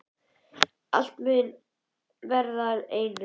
Að allt muni verða að einu.